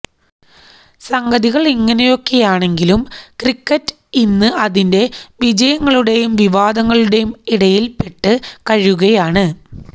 സംഗതികള് ഇങ്ങിനെയൊക്കൊണെങ്കിലും ക്രിക്കറ്റ് ഇന്ന് അതിന്റെ വിജയങ്ങളുടെയും വിവാദങ്ങളുടെയും ഇടയില് പെട്ട് കഴിയുകയാണ്